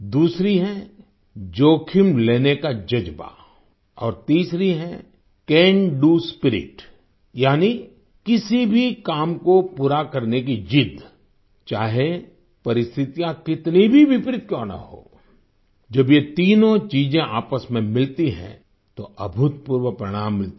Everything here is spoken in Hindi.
दूसरी है जोखिम लेने का जज्बा और तीसरी है कैन डीओ स्पिरिट यानी किसी भी काम को पूरा करने की जिद्द चाहे परिस्थितियाँ कितनी भी विपरीत क्यों न हों जब ये तीनों चीजें आपस में मिलती हैं तो अभूतपूर्व परिणाम मिलते हैं